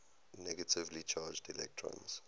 negatively charged electrons